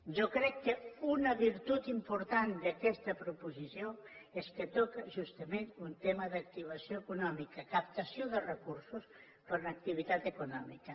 jo crec que una virtut important d’aquesta proposició és que toca justament un tema d’activació econòmica captació de recursos per a una activitat economia